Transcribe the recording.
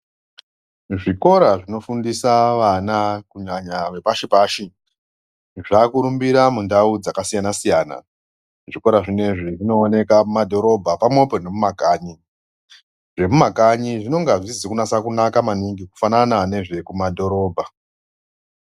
Zvikora zvinofundisa vana kunyanya vepashi-pashi, zvakurumbira mundau dzakasiyana-siyana. Zvikora zvinezvi zvinooneka mumadhorobha pamwepo nemumakanyi. Zvemumakanyi zvinonga zvisizi kunaka maningi kufanana nezvekumadhorobha.